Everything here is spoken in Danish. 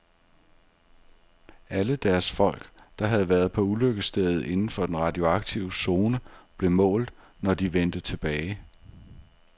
Alle deres folk, der havde været på ulykkesstedet inden for den radioaktive zone, blev målt, når de vendte tilbage.